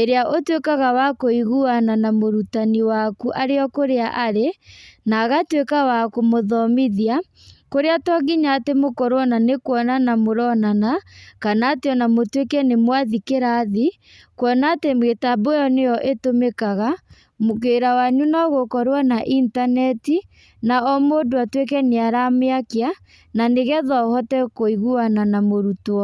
ĩrĩa ũtuĩkaga wa kũiguana na mũrutani waku arĩ o kũrĩa arĩ, na agatuĩka wa kũmũthomithia, kũrĩa to nginya atĩ mũkorwo ona nĩ kuonana mũronana, kana atĩ ona mũtuĩke nĩ mwathi kĩrathi, kuona atĩ mĩtambo ĩyo nĩyo ĩtũmĩkaga, wĩra wanyu nogũkorwo na intaneti, na o mũndũ atuĩke nĩaramĩakia, na nĩgetha ũhote kũiguana na mũrutwo.